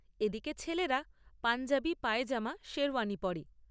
এদিকে ছেলেরা পাঞ্জাবি, পায়জামা, শেরওয়ানি পরে।